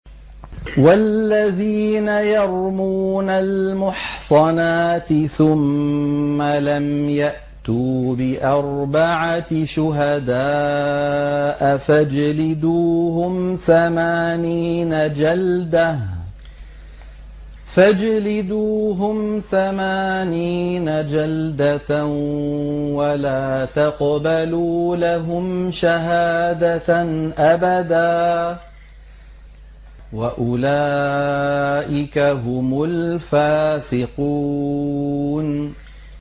وَالَّذِينَ يَرْمُونَ الْمُحْصَنَاتِ ثُمَّ لَمْ يَأْتُوا بِأَرْبَعَةِ شُهَدَاءَ فَاجْلِدُوهُمْ ثَمَانِينَ جَلْدَةً وَلَا تَقْبَلُوا لَهُمْ شَهَادَةً أَبَدًا ۚ وَأُولَٰئِكَ هُمُ الْفَاسِقُونَ